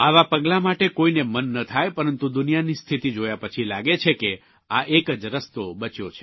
આવા પગલાં માટે કોઇને મન ન થાય પરંતુ દુનિયાની સ્થિતિ જોયા પછી લાગે છે કે આ એક જ રસ્તો બચ્યો છે